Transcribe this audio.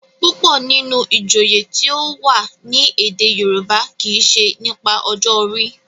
púpọ nínú ìjòyè tíó wá ní èdè yorùbá kí ṣe nípa ọjọ orí.